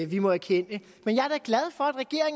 vi må erkende men